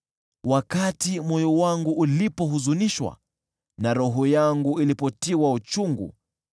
Wakati moyo wangu ulipohuzunishwa, na roho yangu ilipotiwa uchungu,